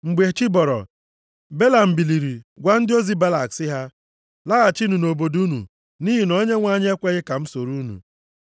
Mgbe chi bọrọ, Belam biliri gwa ndị ozi Balak sị ha, “Laghachinụ nʼobodo unu nʼihi na Onyenwe anyị ekweghị ka m soro unu.”